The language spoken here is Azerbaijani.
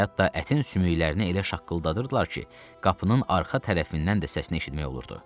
hətta ətin sümüklərini elə şaqqıldadırdılar ki, qapının arxa tərəfindən də səsini eşitmək olurdu.